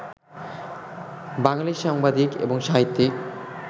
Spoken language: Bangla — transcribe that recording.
বাঙালি সাংবাদিক এবং সাহিত্যিক